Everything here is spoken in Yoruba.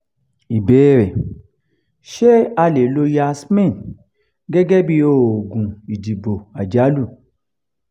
ìbéèrè: ṣé a lè lo yasmin gẹ́gẹ́ bí oògùn ìdìbò àjálù?